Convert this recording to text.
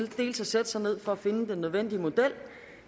sætte sig ned for at finde den nødvendige model